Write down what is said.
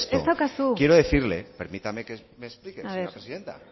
ez daukazu hitza honi buruz más allá de esto quiero quiero decirle permítame que me explique señora presidenta